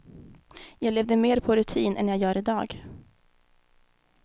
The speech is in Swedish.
Jag levde mer på rutin än jag gör i dag.